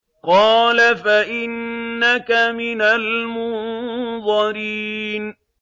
قَالَ فَإِنَّكَ مِنَ الْمُنظَرِينَ